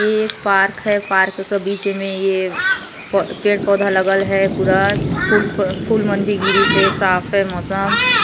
ये एक पार्क है पार्क की बीच में में प यह पेड़ पौधा लगल है पूरा फुल फूल मंडी गिरी से साफ है मौसम